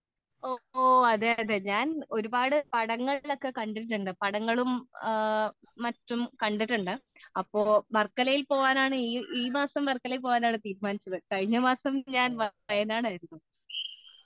ഓ അതേ അതേ ഞാൻ ഒരുപാട് പടങ്ങളിൽ ഒക്കെ കണ്ടിട്ടുണ്ട് പടങ്ങളും മറ്റുമൊക്ക കണ്ടിട്ടുണ്ട് അപ്പൊ ഈ മാസം വർക്കലയിൽ പോകാനാണ് തീരുമാനിച്ചത് കഴിഞ്ഞ മാസം ഞാൻ വായനാടായിരുന്നു